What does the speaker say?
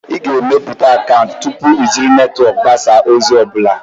Ị ga-emepụta akaụntụ tupu iji netwọk mgbasa ozi ọ bụla.